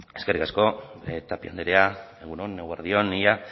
eskerrik asko tapia andrea egun on eguerdi on ia